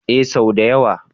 Ee sau da yawa.